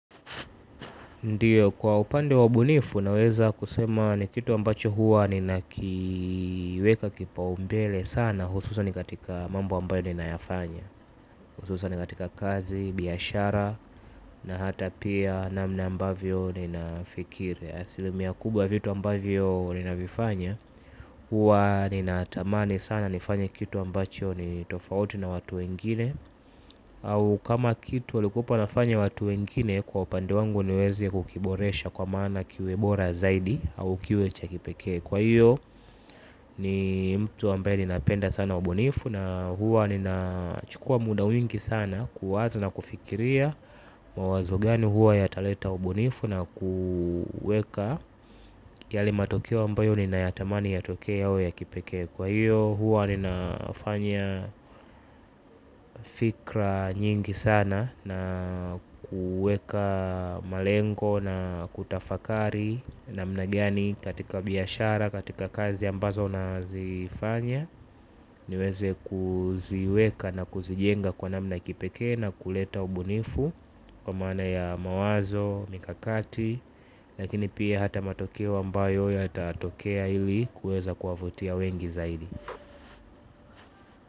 Ndio kwa upande wa ubunifu naweza kusema ni kitu ambacho huwa ninakiweka kipaumbele sana hususan katika mambo ambayo ninayafanya. Hususan katika kazi, biashara na hata pia namna ambavyo ninafikiri asilimia kubwa ya vitu ambavyo ninavifanya huwa ninatamani sana nifanye kitu ambacho ni tofauti na watu wengine. Au kama kitu walikuepo wanafanya watu wengine kwa upande wangu niweze kukiboresha kwa maana kiwe bora zaidi au kiwe cha kipekee kwa hiyo ni mtu ambaye ninapenda sana ubunifu. Na huwa ninachukua muda wingi sana kuwaza na kufikiria. Mawazo gani huwa yataleta ubunifu na kuweka yale matokeo ambayo ninayatamani yatokee yawe ya kipekee kwa hiyo huwa ninafanya fikra nyingi sana na kuweka malengo na kutafakari namna gani katika biashara, katika kazi ambazo nazifanya niweze kuziweka na kuzijenga kwa namna ya kipekee na kuleta ubunifu kwa maana ya mawazo, mikakati lakini pia hata matokeo ambayo yatatokea ili kuweza kuwavutia wengi zaidi.